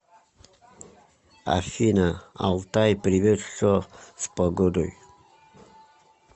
афина алтай привет что с погодой